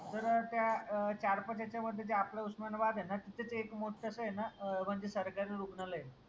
तर त्या अह चार-पाच याच्यामध्ये जे आपलं उस्मानाबाद आहे ना तिथेच एक मोठंसं आहे ना म्हणजे सरकारी रुग्णालय आहे.